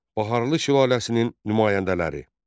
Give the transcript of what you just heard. Baharlı sülaləsinin nümayəndələri.